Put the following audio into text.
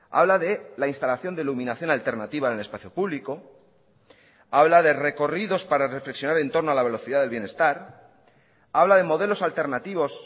habla de la instalación de iluminación alternativa en el espacio público habla de recorridos para reflexionar en torno a la velocidad del bienestar habla de modelos alternativos